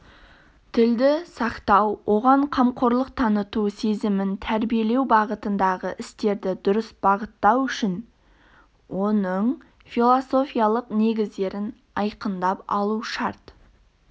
тілді сақтау оған қамқорлық таныту сезімін тәрбиелеу бағытындағы істерді дұрыс бағыттау үшін оның философиялық негіздерін айқындап алу шарт